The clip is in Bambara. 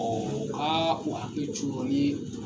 aa u ka hakili t'u rɔ ni